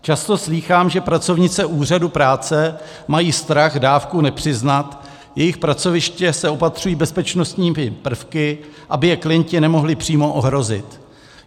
Často slýchám, že pracovnice úřadů práce mají strach dávku nepřiznat, jejich pracoviště se opatřují bezpečnostními prvky, aby je klienti nemohli přímo ohrozit.